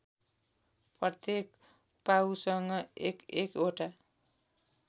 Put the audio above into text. प्रत्येक पाउसँग एकएकवटा